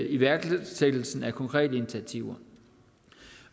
iværksættelsen af konkrete initiativer